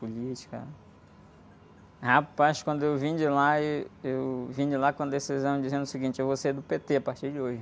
Política... Rapaz, quando eu vim de lá, êh, eu vim de lá com a decisão, dizendo o seguinte, eu vou ser do pê-tê a partir de hoje.